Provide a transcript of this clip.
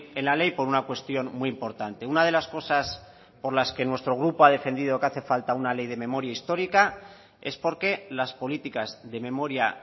en la ley por una cuestión muy importante una de las cosas por las que nuestro grupo ha defendido que hace falta una ley de memoria histórica es porque las políticas de memoria